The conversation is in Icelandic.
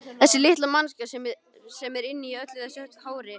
Þessi litla manneskja sem er inni í öllu þessu hári.